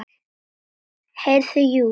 Heyrðu, jú.